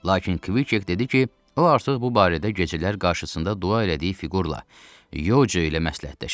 Lakin Kviket dedi ki, o artıq bu barədə gecələr qarşısında dua elədiyi fiqurla Yoco ilə məsləhətləşib.